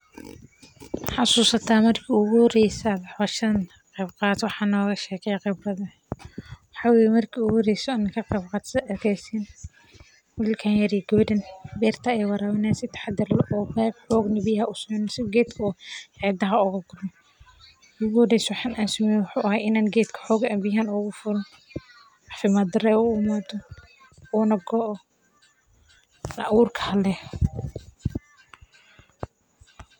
Ma xasuusataa markii ugu horreysay ee aad howshan qabato, wax nooga sheeg khibrada, maxaa weye marki igu horesee o an ka qeyb qarto sitha aad arkeysiin wilkan yar iyo gewedan bertaa ayey warawini hayan si taxadar leh o beeb si xognah biyahana usoconin, si o xididaha oga gurmin, marki igu horeyse waxan an sameyee wuxuu ahay ina geedka xogaa ahanbiyaha aad ogu furo, cafiimaad dara u imato, una goo, aburka hale.